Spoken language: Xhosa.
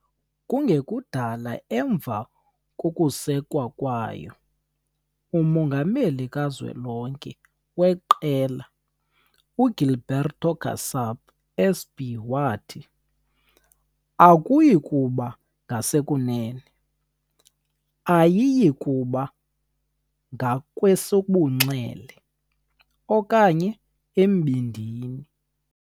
Kungekudala emva kokusekwa kwayo, umongameli kazwelonke weqela, uGilberto Kassab, SP, wathi, "Akuyi kuba ngasekunene, ayiyikuba ngakwesobunxele, okanye embindini".